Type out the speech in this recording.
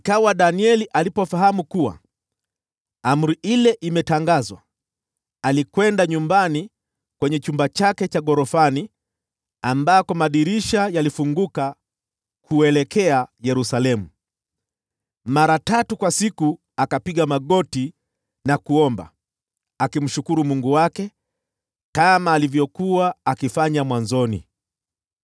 Basi Danieli alipofahamu kuwa amri ile imetangazwa, alikwenda nyumbani kwenye chumba chake cha ghorofani ambako madirisha yalifunguka kuelekea Yerusalemu. Akapiga magoti na kuomba mara tatu kwa siku, akimshukuru Mungu wake kama alivyokuwa akifanya mwanzoni.